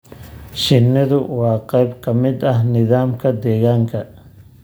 Shinnidu waa qayb ka mid ah nidaamka deegaanka.